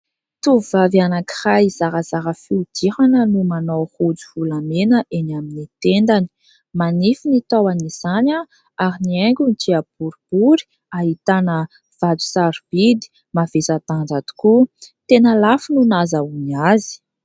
Tovovavy anankiray zarazara fihodirana no manao rojo volamena eny amin'ny tendany. Manify ny tahon'izany, ary ny haingony dia boribory ahitana vato sarobidy mavesa-danja tokoa. Tena lafo no nahazahoany azy.